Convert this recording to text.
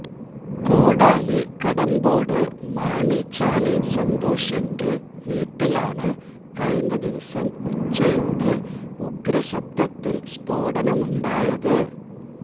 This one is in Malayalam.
കോടാലി കടമ്പോട് മാണിചാലി സന്തോഷിന്റെ വീട്ടിലാണ് കഴിഞ്ഞ ദിവസം ഉച്ചയോടെ ഉഗ്രശബ്ദത്തില് സ്ഫോടനമുണ്ടായത്